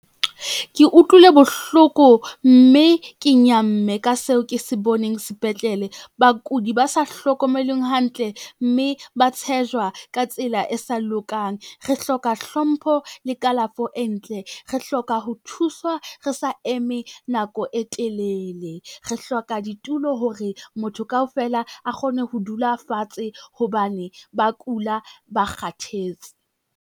Ke utlwile bohloko mme ke nyamme ka seo ke se boneng sepetlele. Bakudi ba sa hlokomelweng hantle mme ba tshejwa ka tsela e sa lokang. Re hloka hlompho le kalafo e ntle, re hloka ho thuswa re sa eme nako e telele, re hloka ditulo hore motho kaofela a kgone ho dula fatshe hobane ba kula, ba kgathetse.